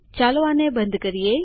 ચાલો આને બંધ કરીએ